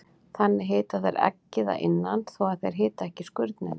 Þannig hita þær eggið að innan þó að þær hiti ekki skurnina.